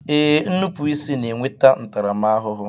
Ee, nnupụisi na-enweta ntaramahụhụ